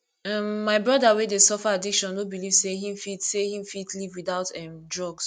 um my broda wey dey suffer addiction no beliv sey him fit sey him fit live witout um drugs